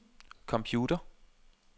computer